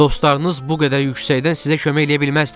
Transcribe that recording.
Dostlarınız bu qədər yüksəkdən sizə kömək eləyə bilməzlər.